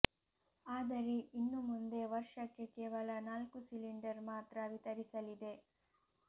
ಆದರೆ ಇನ್ನು ಮುಂದೆ ವರ್ಷಕ್ಕೆ ಕೇವಲ ನಾಲ್ಕು ಸಿಲಿಂಡರ್ ಮಾತ್ರ ವಿತರಿಸಲಿದೆ